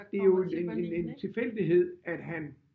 Det jo en en en tilfældighed at han